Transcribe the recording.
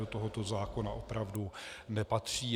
Do tohoto zákona opravdu nepatří.